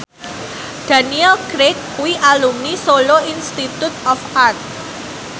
Daniel Craig kuwi alumni Solo Institute of Art